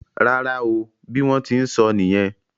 Rárá o. Bí wón tí n sóó nìyen.